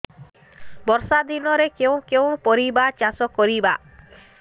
ବର୍ଷା ଦିନରେ କେଉଁ କେଉଁ ପରିବା ଚାଷ କରିବା